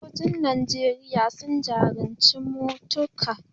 Sojojin Najeriya sun jajirce matuka